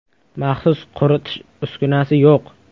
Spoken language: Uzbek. Maxsus quritish uskunasi yo‘q.